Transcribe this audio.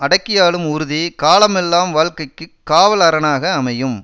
அடக்கியாளும் உறுதி காலமெல்லாம் வாழ்க்கைக்கு காவல் அரணாக அமையும்